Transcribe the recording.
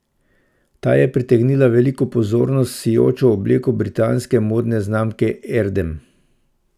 Ta je pritegnila veliko pozornosti s sijočo obleko britanske modne znamke Erdem.